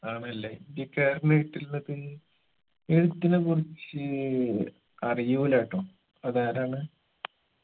ആണല്ലേ ഇന്ത്യക്കാരന് കിട്ടിയിള്ളത് എഴുത്തിന കുറിച്ച് അറിയൂലട്ടൊ അതാരാണ്